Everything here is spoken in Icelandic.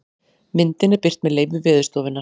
Myndin er birt með leyfi Veðurstofunnar.